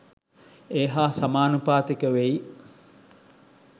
ඒ හා සමානුපාතික වෙයි.